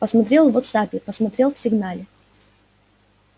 посмотрел в вотсаппе посмотрел в сигнале